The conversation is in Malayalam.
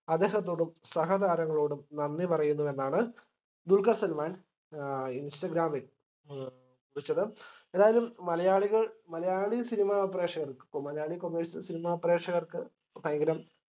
അദ്ദേഹത്തോടും സഹതാരങ്ങളോടും നന്ദി പറയുന്നുവെന്നാണ് ദുൽക്കർ സൽമാൻ ഏഹ് ഇൻസ്റ്റഗ്രമിൽ കുറിച്ചത് ഏതായാലും മലയാളികൾ മലയാളി cinema പ്രേഷകർക്ക് ഇപ്പോ മലയാളി commercial cinema പ്രേക്ഷകർക്ക് ഭയങ്കരം